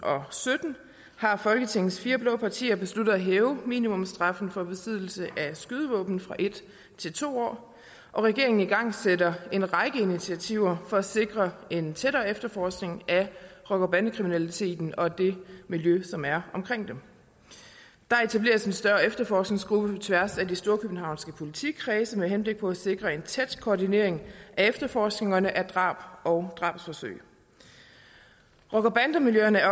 og sytten har folketingets fire blå partier besluttet at hæve minimumsstraffen for besiddelse af skydevåben fra en til to år og regeringen igangsætter en række initiativer for at sikre en tættere efterforskning af rocker og bandekriminaliteten og det miljø som er omkring den der etableres en større efterforskningsgruppe på tværs af de storkøbenhavnske politikredse med henblik på at sikre en tæt koordinering af efterforskningerne af drab og drabsforsøg rocker bande miljøerne